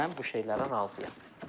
mən bu şeylərə razıyam.